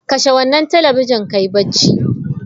Kashe wannan talabijin ka yi barci!